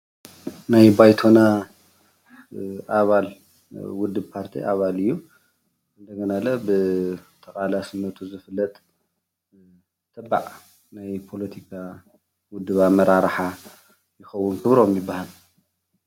ናይ ባይቶና ኣባል ውድብ ፓርቲ ኣባል እዩ፡፡ እንደገና ብተቃላስነቱ ዝፍለጥ ተባዕ ናይ ፖለቲካ ውድብ ኣመራርሓ ይከውን ክብሮም ይባሃል፡፡